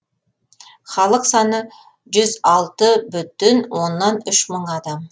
халық саны жүз алты бүтін оннан үш мың адам